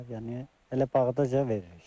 Yəni elə bağdaca veririk.